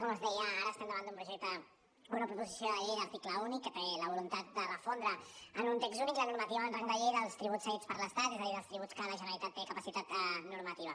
com els deia ara estem davant d’un projecte d’una proposició de llei d’article únic que té la voluntat de refondre en un text únic la normativa amb rang de llei dels tributs cedits per l’estat és a dir dels tributs que la generalitat té capacitat normativa